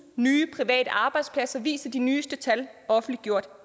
nye private arbejdspladser viser de nyeste tal offentliggjort